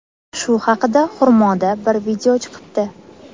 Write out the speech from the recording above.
Shu haqida Xurmoda bir video chiqibdi.